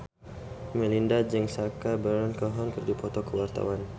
Melinda jeung Sacha Baron Cohen keur dipoto ku wartawan